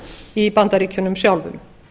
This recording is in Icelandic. í bandaríkjunum sjálfum